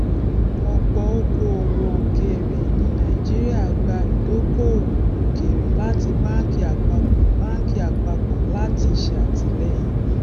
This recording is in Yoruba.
ọpọ òkòowò òkèèrè ní nàìjíríà gba ìdókòwò òkèèrè láti báńkì àpapọ báńkì àpapọ láti ṣètìlẹyìn